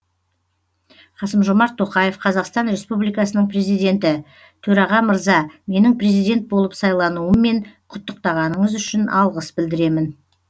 қасым жомарт тоқаев қазақстан республикасының президенті төраға мырза менің президент болып сайлануыммен құттықтағаныңыз үшін алғыс білдіремін